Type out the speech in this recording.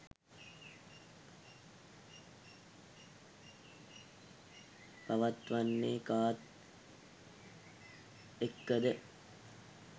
පවත්වන්නේ කාත් එක්කද?